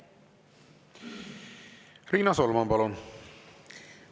Riina Solman, palun!